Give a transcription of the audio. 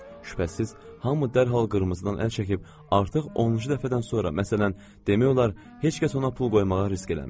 Şübhəsiz, hamı dərhal qırmızıdan əl çəkib, artıq 10-cu dəfədən sonra, məsələn, demək olar heç kəs ona pul qoymağa risk eləmir.